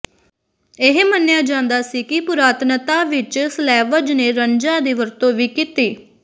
ਇਹ ਮੰਨਿਆ ਜਾਂਦਾ ਸੀ ਕਿ ਪੁਰਾਤਨਤਾ ਵਿਚ ਸਲੈਵਜ਼ ਨੇ ਰਨਜ਼ਾਂ ਦੀ ਵਰਤੋਂ ਵੀ ਕੀਤੀ